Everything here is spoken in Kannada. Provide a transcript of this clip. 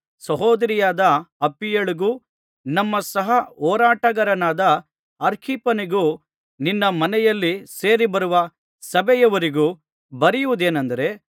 ಮತ್ತು ಸಹೋದರಿಯಾದ ಅಪ್ಫಿಯಳಿಗೂ ನಮ್ಮ ಸಹ ಹೋರಾಟಗಾರನಾದ ಅರ್ಖಿಪ್ಪನಿಗೂ ನಿನ್ನ ಮನೆಯಲ್ಲಿ ಸೇರಿಬರುವ ಸಭೆಯವರಿಗೂ ಬರೆಯುವುದೇನಂದರೆ